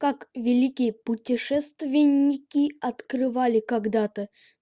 как великие путешественники открывали когда-то